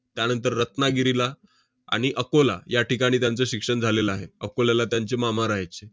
त्यानंतर रत्नागिरीला आणि अकोला या ठिकाणी त्यांचं शिक्षण झालेलं आहे. अकोल्याला त्यांचे मामा राहायचे.